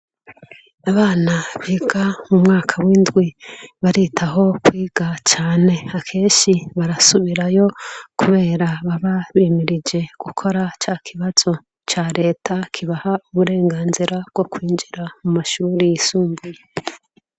Abana biga mu mwaka w'indwi baritaho kwiga cane akeshi barasubirayo, kubera bababimirije gukora ca kibazo ca leta kibaha uburenganzira bwo kwinjira mu mashuri yisumbuye.